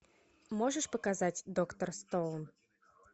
можешь показать доктор стоун